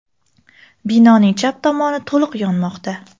Binoning chap tomoni to‘liq yonmoqda.